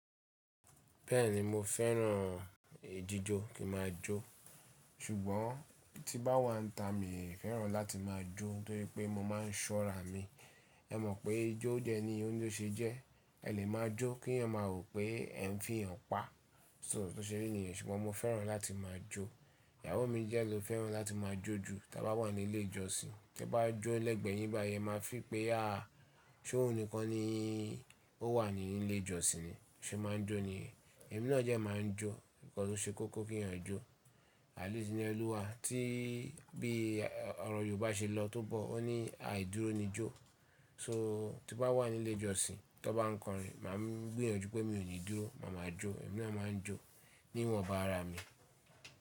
Bẹ́ẹ̀ni mo fẹ́ràn ìjíjó kí ma jó, ṣùgbọ́n tí bá wà níta mi ò fẹ́ràn láti máa jó torí pé mo máa ń ṣọ́ra mi. Ẹ mọ̀ pé ijó jẹ ni oyún tó ṣe jẹ́, ẹ lè máa jó kí èèyàn máa rò pé ẹ ń fi èèyàn pa, so tó ṣe ní ènìyàn, ṣùgbọ́n mo fẹ́ràn láti máa jó. Ìyàwó mi jẹ ló fẹ́ràn láti máa jó jù, tí a bá wà ní ilé ìjọsìn, kí a bá jó lẹ́ẹ̀gbẹ́ ìbà yẹn máa feel pé a, ṣó òun nìkan ni ó wà ní ilé ìjọsìn ni, ó ṣe é máa ń jó ni. Ẹ̀mí náà dẹ máa ń jó nítorí ó ṣe kókó kí èèyàn jó. Àt least ni ẹ́lúwa tí bí ọ̀rọ̀ Yorùbá ṣe lọ tó bọ̀ ó ní àìdúró ni jó. So tí bá wà ní ilé ìjọsìn tí wọ́n bá ń kọrin, máa ń gbìyànjú pé mi ò ní dúró, màá ma jó, ẹ̀mí náà máa ń jó níwọ̀nba ara mi.